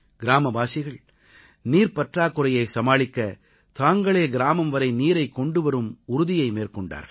கிராமவாசிகள் நீர்ப்பற்றாக்குறையை சமாளிக்க தாங்களே கிராமம்வரை நீரைக் கொண்டுவரும் உறுதியை மேற்கொண்டார்கள்